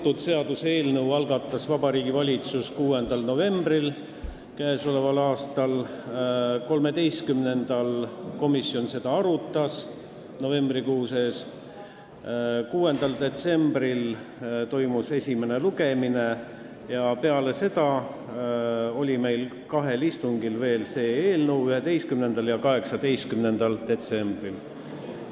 Kõnealuse seaduseelnõu algatas Vabariigi Valitsus 6. novembril k.a. Komisjon arutas seda 13. novembril, 6. detsembril toimus esimene lugemine ja peale seda oli see eelnõu meil arutelul veel kahel istungil: 11. ja 18. detsembril.